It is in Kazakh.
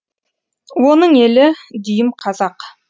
оның елі дүйім қазақ